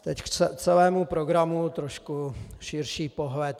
Teď k celému programu trochu širší pohled.